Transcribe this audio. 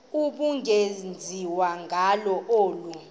ubungenziwa ngalo olu